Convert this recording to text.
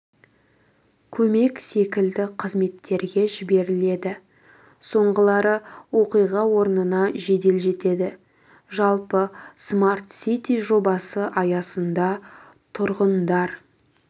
көмек секілді қызметтерге жіберіледі соңғылары оқиға орнына жедел жетеді жалпы смарт сити жобасы аясында тұрғындар